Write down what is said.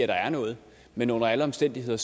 der er noget men under alle omstændigheder